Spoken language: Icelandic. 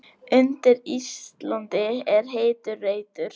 Undir Íslandi er heitur reitur.